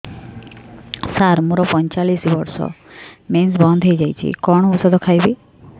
ସାର ମୋର ପଞ୍ଚଚାଳିଶି ବର୍ଷ ମେନ୍ସେସ ବନ୍ଦ ହେଇଯାଇଛି କଣ ଓଷଦ ଖାଇବି